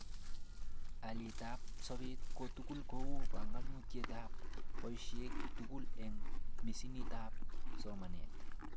Alietab sobet kotugul kou banganutikab baishoshek tuguk eng misinitab somanet